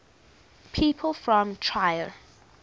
people from trier